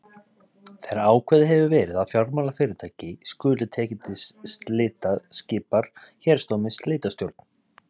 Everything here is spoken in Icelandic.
Þegar ákveðið hefur verið að fjármálafyrirtæki skuli tekið til slita skipar héraðsdómari slitastjórn.